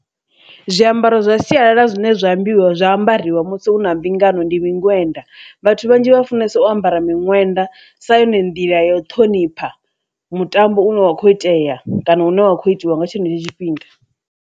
Zwiambaro zwa sialala zwine zwa ambiwa zwa ambariwa musi hu na mbingano ndi miṅwenda, vhathu vhanzhi vha funesa o ambara miṅwenda sa yone nḓila ya u ṱhonipha mutambo une wa kho itea kana hune wa kho itiwa nga tshenetsho tshifhinga.